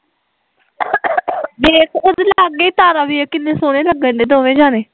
ਵੇਖ ਉਹਦੇ ਲਾਗੇ ਤਾਰਾ ਵੀ ਐ ਕਿੰਨੇ ਸੋਹਣੇ ਲੱਗਣ ਡਏ ਦੋਵੇ ਜਣੇ